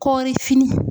Kɔrifini